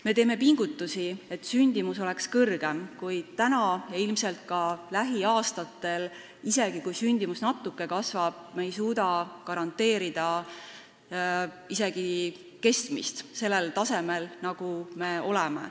Me teeme pingutusi, et sündimus oleks suurem, kuid täna – ja ilmselt ka lähiaastatel, ka siis, kui sündimus natuke kasvab – ei suuda me garanteerida isegi keskmist taset, mis meil on.